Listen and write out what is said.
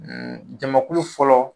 Jamakulu fɔlɔ